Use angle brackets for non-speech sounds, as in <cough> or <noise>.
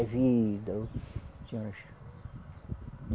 É vida. <unintelligible>